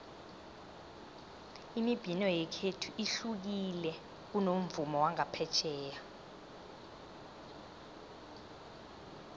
imibhino yekhethu ihlukile kunomvumo wangaphetjheya